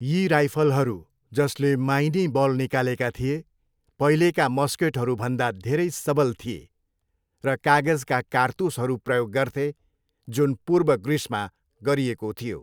यी राइफलहरू, जसले माइनी बल निकालेका थिए, पहिलेका मस्केटहरूभन्दा धेरै सबल थिए, र कागजका कारतुसहरू प्रयोग गर्थे जुन पूर्व ग्रिसमा गरिएको थियो।